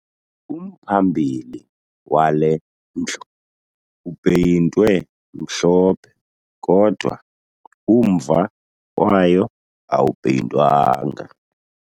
Umphambili wale ndlu upeyintwe mhlophe kodwa umva wayo awupeyintwanga